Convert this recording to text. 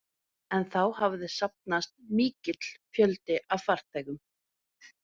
En þá hafði safnast mikill fjöldi af farþegum.